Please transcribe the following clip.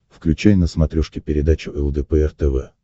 включай на смотрешке передачу лдпр тв